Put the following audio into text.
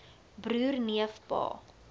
broer neef pa